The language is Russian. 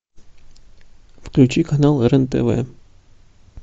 включи канал рен тв